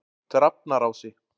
Drafnarási